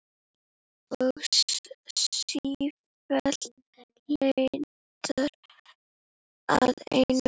Og sífellt leitar að einum.